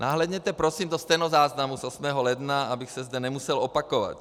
Nahlédněte prosím do stenozáznamu z 8. ledna, abych se zde nemusel opakovat.